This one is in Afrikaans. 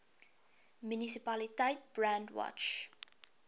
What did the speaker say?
munisipaliteit brandwatch